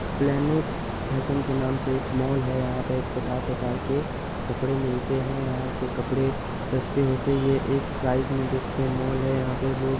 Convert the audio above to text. Planet Fashion के नाम से एक मॉल है यहाँ पे प्रकार प्रकार के कपड़े मिलते में यहाँ के कपड़े सस्ते होते हैं ये एक प्राइस में बेचते हे मॉल हैं। यहाँ पे--